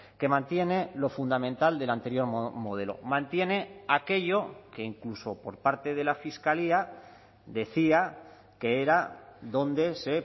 que mantiene lo fundamental del anterior modelo mantiene aquello que incluso por parte de la fiscalía decía que era donde se